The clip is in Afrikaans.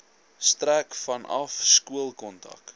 strek vanaf skoolkontak